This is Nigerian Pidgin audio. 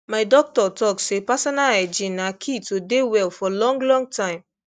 my doctor talk say personal hygiene na key to dey well for long long time